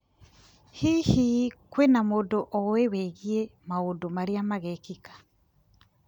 Hihi, kwĩna mũndũ oĩ wĩgiĩ maũndũ marĩa magekĩka?